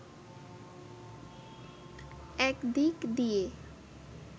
এক দিক দিয়ে